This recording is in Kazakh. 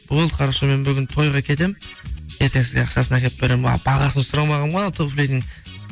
болды хорошо мен бүгін тойға кетемін ертең сізге ақшасын әкеліп беремін а бағасын сұрамағанмын ғой ана туфлидің